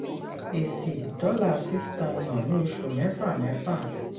ẹ̀sì: $6000 ni oṣù mẹ́fà mẹ́fà.